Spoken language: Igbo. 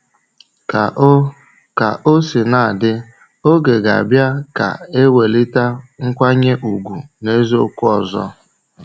Ka o Ka o sina dị, oge ga-abịa ka ewelite nkwanye ùgwù n’eziokwu ọzọ.